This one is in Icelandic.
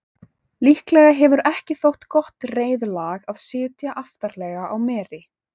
líklega hefur ekki þótt gott reiðlag að sitja aftarlega á meri